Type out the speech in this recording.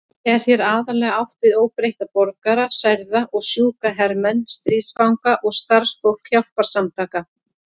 Er hér aðallega átt við óbreytta borgara, særða og sjúka hermenn, stríðsfanga og starfsfólk hjálparsamtaka.